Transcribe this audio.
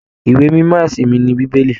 Ìwé mímọ ẹsìn mí ní bíbélì.